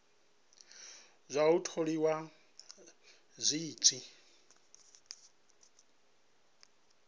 zwa u tholiwa zwi tshi